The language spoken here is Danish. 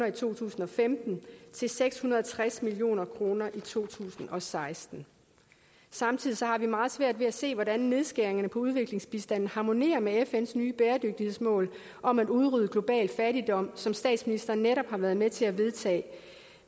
i to tusind og femten til seks hundrede og tres million kroner i to tusind og seksten samtidig har vi meget svært ved at se hvordan nedskæringerne på udviklingsbistanden harmonerer med fns nye bæredygtighedsmål om at udrydde global fattigdom som statsministeren netop har været med til at vedtage